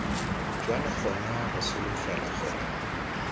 jalo gona re solofela gore